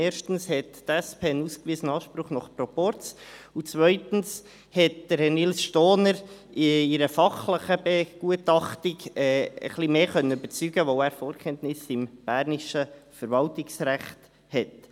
Erstens hat die SP einen ausgewiesenen Anspruch nach Proporz, und zweitens konnte Herr Nils Stohner in einer fachlichen Begutachtung etwas mehr überzeugen, weil er Vorkenntnisse im bernischen Verwaltungsrecht hat.